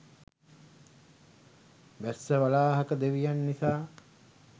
වැස්සවලාහක දෙවියන් නිසා.